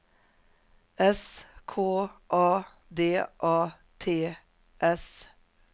S K A D A T S